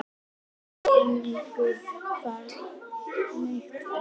Haukur Ingi Guðnason Fallegasta knattspyrnukonan?